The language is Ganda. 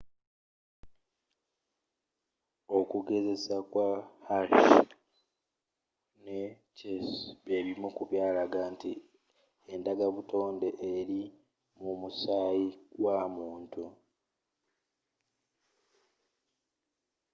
okugezesa kwa hershey ne chase byebimu ku byalaga nti endagabutonde eri mu musaayi gwa muntu